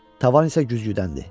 Tavan isə güzgüdəndir.